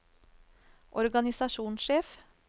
organisasjonssjef